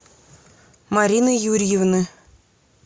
марины юрьевны